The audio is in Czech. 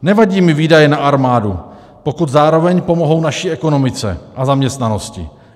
Nevadí mi výdaje na armádu, pokud zároveň pomohou naší ekonomice a zaměstnanosti.